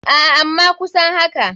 Aa ama kusan haka.